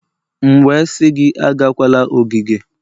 M wee sị gị agakwala ogige!